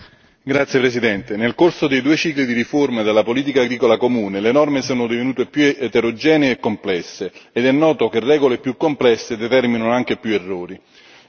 Signora Presidente, onorevoli colleghi, nel corso dei due cicli di riforma della politica agricola comune, le norme sono divenute più eterogenee e complesse ed è noto che per regole più complesse determinano anche più errori.